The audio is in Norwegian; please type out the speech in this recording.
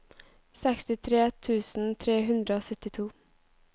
sekstitre tusen tre hundre og syttito